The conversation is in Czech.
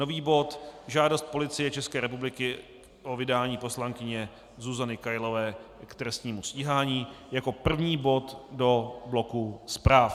Nový bod Žádost Policie České republiky o vydání poslankyně Zuzany Kailové k trestnímu stíhání jako první bod do bloku zpráv.